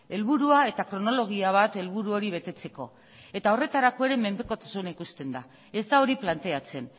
helburua eta kronologia bat helburu hori betetzeko eta horretarako ere menpekotasuna ikusten da ez da hori planteatzen